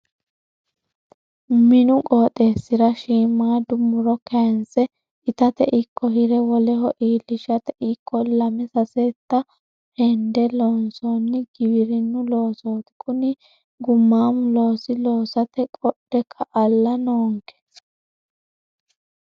Minu qooxeesira shiimada muro kayinse itate ikko hire woleho iillishate ikko lame sasetta hende loonsoni giwirinu loossoti kuni gumamo looso loossate qodhe ka"alla noonke.